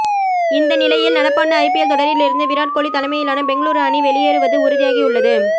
இந்தநிலையில் நடப்பாண்டு ஐபில் தொடரிலிருந்து விராட் கோலி தமையிலான பெங்களுரு அணி வெளியேறுவது உறுதியாகியுள்ளது